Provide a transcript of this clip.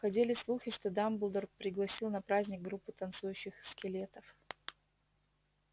ходили слухи что дамблдор пригласил на праздник группу танцующих скелетов